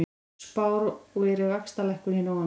Spáir vaxtalækkun í nóvember